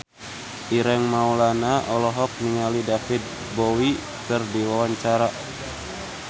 Ireng Maulana olohok ningali David Bowie keur diwawancara